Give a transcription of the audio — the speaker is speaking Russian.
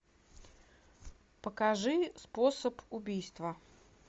покажи способ убийства